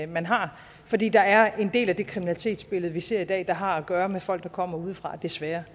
man har fordi der er en del af det kriminalitetsbillede vi ser i dag der har at gøre med folk der kommer udefra desværre